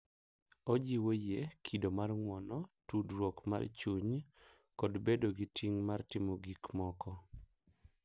Ojiwo yie, kido mar ng'uono, tudruok mar chuny, kod bedo gi ting' mar timo gik moko,